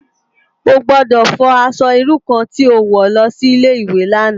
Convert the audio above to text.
Ó gbòdò fò aṣò irú kàn ti ó wò lòsi Ilé iwé làná